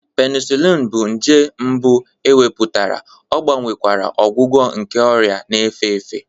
Penicillin bụ nje mbụ e mepụtara, ọ gbanwekwara ọgwụgwọ nke ọrịa na-efe efe.